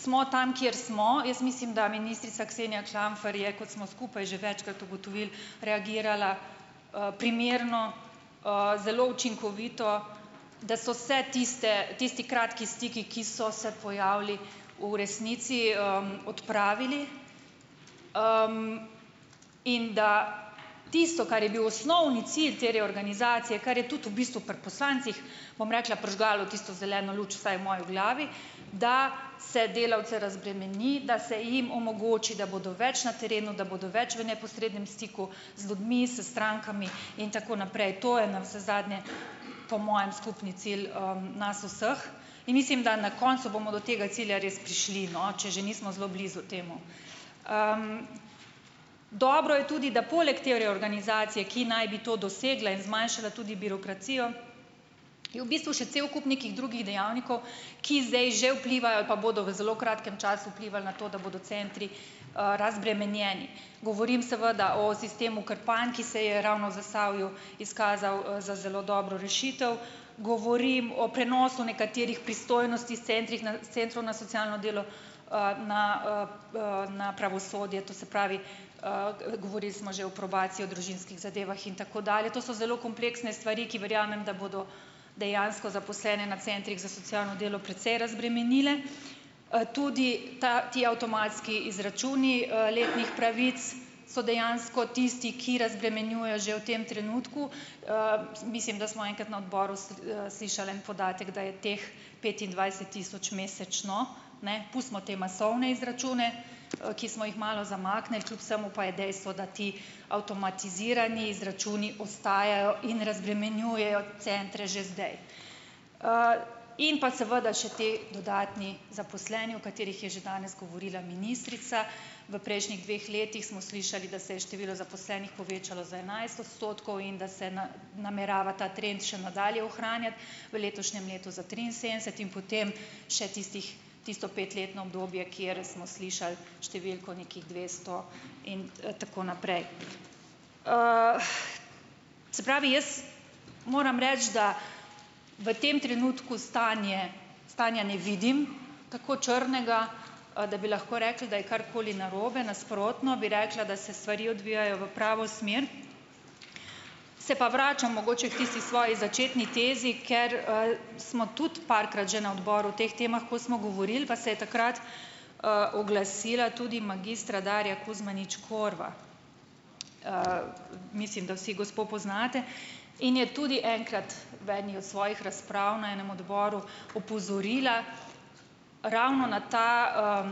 smo tam, kjer smo, jaz mislim, da ministrica Ksenija Klamfer je, kot smo skupaj že večkrat ugotovili, reagirala primerno, zelo učinkovito, da so se tiste, tisti kratki stiki, ki so se pojavili, v resnici odpravili. in da tisto, kar je bil osnovni cilj te reorganizacije, kar je tudi v bistvu pri poslancih, bom rekla, prižgalo tisto zeleno luč, vsaj v moji glavi, da se delavce razbremeni, da se jim omogoči, da bodo več na terenu, da bodo več v neposrednem stiku z ljudmi, s strankami in tako naprej. To je navsezadnje po mojem skupni cilj nas vseh in mislim, da na koncu bomo do tega cilja res prišli, no, če že nismo zelo blizu temu. Dobro je tudi, da poleg te reorganizacije, ki naj bi to dosegla in zmanjšala tudi birokracijo, je v bistvu še cel kup nekih drugih dejavnikov, ki zdaj že vplivajo ali pa bodo v zelo kratkem času vplivali na to, da bodo centri razbremenjeni. Govorim seveda o sistemu Krpan, ki se je ravno v Zasavju izkazal za zelo dobro rešitev. Govorim o prenosu nekaterih pristojnosti s centrih s centrov na socialno delo na na pravosodje to se pravi, govorili smo že o probaciji, o družinskih zadevah in tako dalje. To so zelo kompleksne stvari, ki verjamem, da bodo dejansko zaposlene na centrih za socialno delo precej razbremenile. tudi ta, ti avtomatski izračuni letnih pravic so dejansko tisti, ki razbremenjujejo že v tem trenutku. mislim, da smo enkrat na Odboru slišal en podatek, da je teh petindvajset tisoč mesečno, ne, pustimo te masovne izračune, ki smo jih malo zamaknili, kljub vsemu pa je dejstvo, da ti avtomatizirani izračuni ostajajo in razbremenjujejo centre že zdaj. in pa seveda še ti dodatni zaposleni, o katerih je že danes govorila ministrica, v prejšnjih dveh letih smo slišali, da se je število zaposlenih povečalo za enajst octotkov in da se namerava ta trend še nadalje ohranjati v letošnjem letu za triinsedemdeset in potem še tistih, tisto petletno obdobje, kjer smo slišali številko nekih dvesto in tako naprej. se pravi, jaz moram reči, da v tem trenutku stanje, stanja ne vidim tako črnega, da bi lahko rekli, da je karkoli narobe, nasprotno bi rekla, da se stvari odvijajo v pravo smer. Se pa vračam mogoče k tisti svoji začetni tezi, ker smo tudi parkrat že na Odboru o teh temah, ko smo govorili, pa se je takrat oglasila tudi magistra Darja Kuzmanović Korva. mislim, da vsi gospo poznate, in je tudi enkrat v eni od svojih razprav na enem odboru opozorila ravno na ta